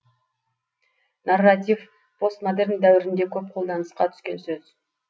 нарратив постмодерн дәуірінде көп қолданысқа түскен сөз